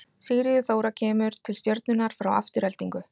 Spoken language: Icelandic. Sigríður Þóra kemur til Stjörnunnar frá Aftureldingu.